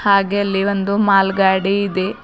ಹಾಗೆ ಅಲ್ಲಿ ಒಂದು ಮಾಲ್ ಗಾಡಿ ಇದೆ.